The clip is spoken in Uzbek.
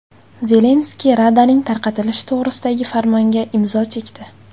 Zelenskiy Radaning tarqatilishi to‘g‘risidagi farmonga imzo chekdi.